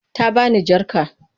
Ta bani jar jaka.